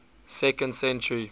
second century